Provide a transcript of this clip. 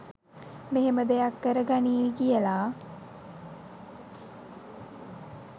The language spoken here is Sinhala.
මෙහෙම දෙයක් කර ගනීවි කියලා